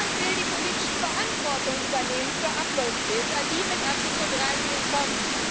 Niemand will die politische Verantwortung übernehmen für Uploadfilter, die mit Artikel 13 kommen.